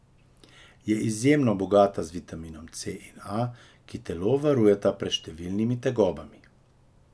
Je izjemno bogata z vitaminoma C in A, ki telo varujeta pred številnimi tegobami.